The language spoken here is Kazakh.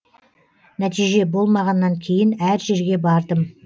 нәтиже болмағаннан кейін әр жерге бардым